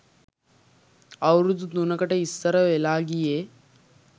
අවුරැදු තුනකට ඉස්සර වෙලා ගියේ